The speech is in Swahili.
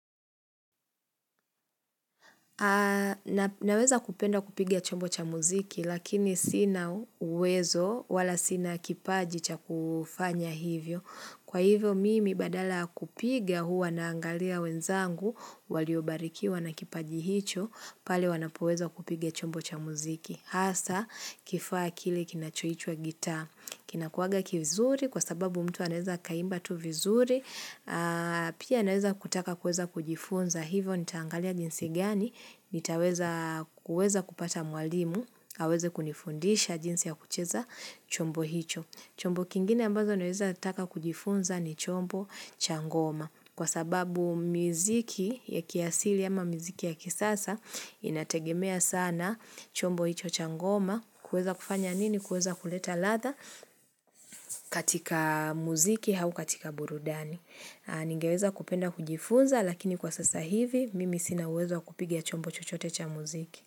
Na weza kupenda kupiga chombo cha muziki lakini sina uwezo wala sina kipaji cha kufanya hivyo. Kwa hivyo mimi badala kupiga huwa naangalia wenzangu waliobarikiwa na kipaji hicho pale wanapoweza kupiga chombo cha muziki. Asa kifaa kile kinachoitwa gita. Kina kuwaga kivizuri kwa sababu mtu anaeza akaimba tu vizuri. Pia naeza kutaka kuweza kujifunza hivo. Nitaangalia jinsi gani? Nitaweza kupata mwalimu. Aweze kunifundisha jinsi ya kucheza chombo hicho. Chombo kingine ambazo naweza taka kujifunza ni chombo cha ngoma kwa sababu miziki ya kiasili ama miziki ya kisasa inategemea sana chombo icho cha ngoma kueza kufanya nini kueza kuleta ladhaa katika muziki au katika burudani. Ningeweza kupenda kujifunza lakini kwa sasa hivi mimi sina uwezo kupigia chombo chochote cha muziki.